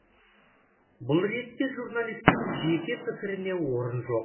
бұл ретте журналистің жеке пікіріне орын жоқ